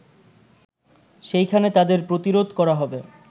সেখানেই তাদের প্রতিরোধ করা হবে